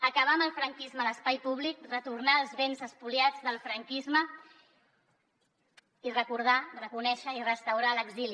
acabar amb el franquisme a l’espai públic retornar els béns espoliats del franquisme i recordar reconèixer i restaurar l’exili